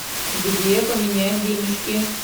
где поменять денежки